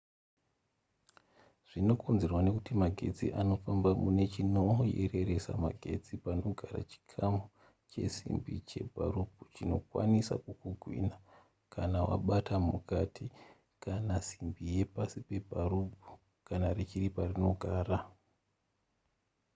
zvinokonzerwa nekuti magetsi anofamba mune chinoyereresa magetsi panogara chikamu chesimbi chepabharubhu chinokwanisa kukugwinha kana wabata mukati kana simbi yepasi pebharubhu kana richiri parinogara